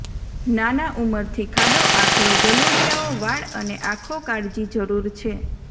નાના ઉંમરથી ખાડો આખલો ગલુડિયાઓ વાળ અને આંખો કાળજી જરૂર છે